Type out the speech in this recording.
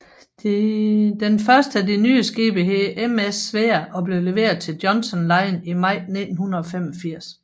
Den første af de nye skibe hed MS Svea og blev leveret til Johnson Line i maj 1985